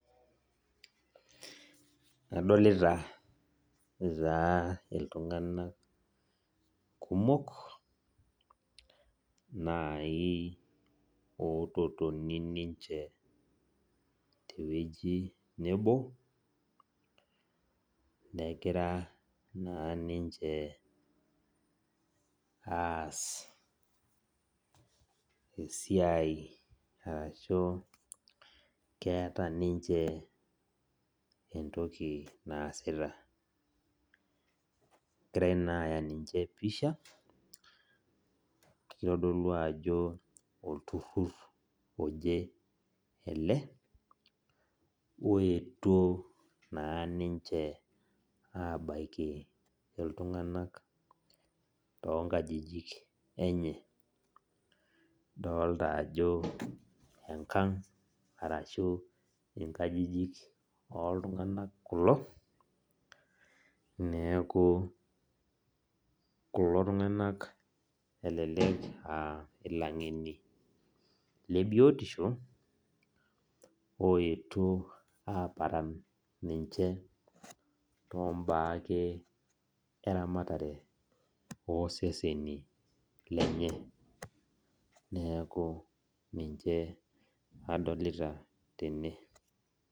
Adolita taa ltunganak kumok nai ototoni ninche tewueji nebo negira na ninche aas esiai ashu keeta ninche entoki naasita egirai naa aya ninche pisha kitadolu ajo olturur oje ele oetuo na ninche abaki ltunganak tonkajijik enye idolta ajo enkang arashu inkajijik oltunganak kulo neaku kulo tunganak elelek aa langeni lebiotosho oetuo aparan ninche tombaa ake eramatare oseseni lenye neaku ninche adolta tene.